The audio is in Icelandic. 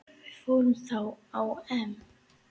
Við förum þá á EM.